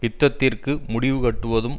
யுத்தத்திற்கு முடிவு கட்டுவதும்